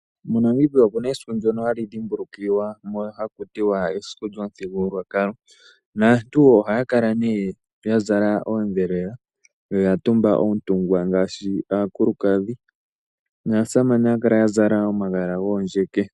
MoNamibia omuna esiku ndyono hali dhimbulukiwa haku tiwa esiku lyomuthigululwakalo . Aantu ohaya kala yazala oondhelela noyatumba oontungwa ngaashi aakulukadhi naasamane ohaya kala yazala omagala goondjeke.